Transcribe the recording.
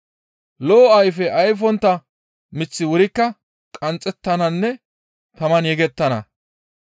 Lo7o ayfe ayfontta miththi wurikka qanxxettananne taman yegettana.